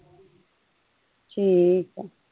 ਠੀਕ ਆ।